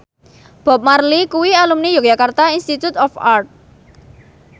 Bob Marley kuwi alumni Yogyakarta Institute of Art